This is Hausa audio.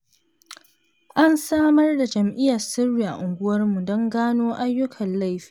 An samar da jami'an sirri a unguwarmu don gano ayyukan laifi.